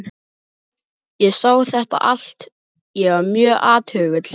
Ég sá þetta allt- ég var mjög athugull.